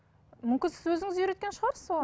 мүмкін сіз өзіңіз үйреткен шығарсыз оған